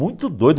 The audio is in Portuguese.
Muito doida.